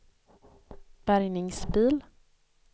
bärgningsbil